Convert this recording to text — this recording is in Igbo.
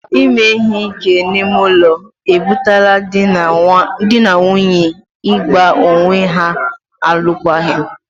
Ime ihe ike n'ime ụlọ e butela dị na nwunye ị gba onwe ha alụkwaghịm.